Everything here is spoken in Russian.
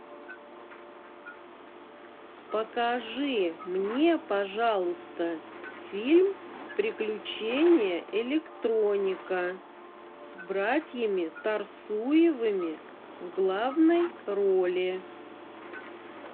покажи мне пожалуйста фильм приключения электроника с братьями торсуевыми в главной роли